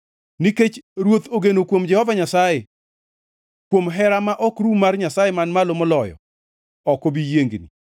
Nikech ruoth ogeno kuom Jehova Nyasaye; kuom hera ma ok rum mar Nyasaye Man Malo Moloyo, ok obi yiengni.